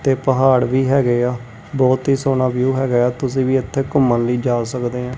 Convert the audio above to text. ਤੇ ਪਹਾੜ ਵੀ ਹੈਗੇ ਆ ਬਹੁਤ ਹੀ ਸੋਹਣਾ ਵਿਊ ਹੈਗਾ ਏ ਆ ਤੁਸੀ ਵੀ ਇੱਥੇ ਘੁੰਮਣ ਲਈ ਜਾ ਸਕਦੇ ਆਂ।